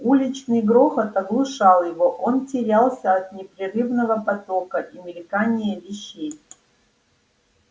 уличный грохот оглушал его он терялся от непрерывного потока и мелькания вещей